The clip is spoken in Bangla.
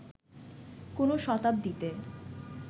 কোন শতাব্দীতে